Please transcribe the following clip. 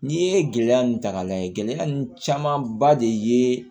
N'i ye gɛlɛya nun ta k'a lajɛ gɛlɛya ninnu caman ba de ye